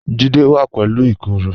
Jídẹ̀ wà pẹ̀lú ìkoro